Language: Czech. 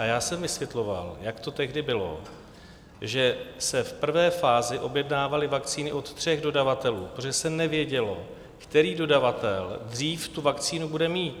A já jsem vysvětloval, jak to tehdy bylo, že se v prvé fázi objednávaly vakcíny od tří dodavatelů, protože se nevědělo, který dodavatel dřív tu vakcínu bude mít.